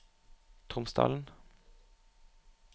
Tromsdalen